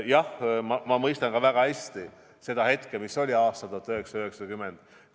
Jah, ma mõistan väga hästi, milline seis oli aastal 1990.